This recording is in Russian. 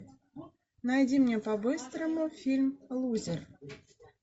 найди мне по быстрому фильм лузер